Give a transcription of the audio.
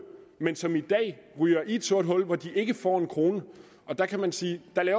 men som i dag ryger i et sort hul hvor de ikke får en krone der kan man sige